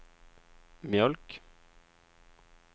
mjölk